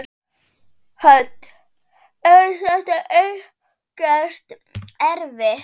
Hödd: Er þetta ekkert erfitt?